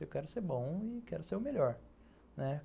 Eu quero ser bom e quero ser o melhor, né.